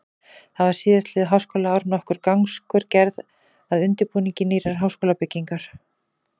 Því var síðastliðið háskólaár nokkur gangskör gerð að undirbúningi nýrrar háskólabyggingar.